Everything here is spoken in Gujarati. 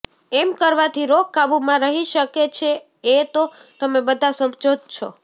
એમ કરવાથી રોગ કાબૂમાં રહી શકે છે એ તો તમે બધા સમજો જ છો